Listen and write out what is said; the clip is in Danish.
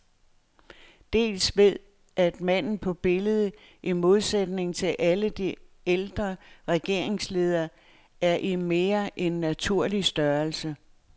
Dels ved at manden på billedet, i modsætning til alle de ældre regeringsledere, er i mere end naturlig størrelse.